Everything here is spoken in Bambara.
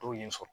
Dɔw ye n sɔrɔ